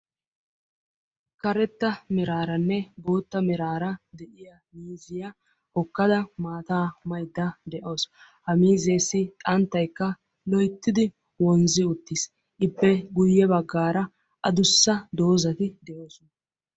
Karetta meraarane boottaa meraara de'iyaa miiziya hokadda maata maydda de'awus; ha miizzessi xanttaykka loyttidi wonzzi uttiis; Ippe guyye baggara adussa doozati de'oosona.